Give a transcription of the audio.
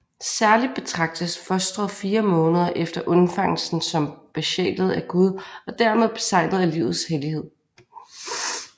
Særligt betragtes fostret fire måneder efter undfangelsen som besjælet af Gud og dermed beseglet af livets hellighed